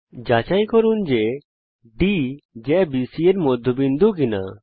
যাচাই করুন যে D জ্যা বিসি এর মধ্যবিন্দু কিনা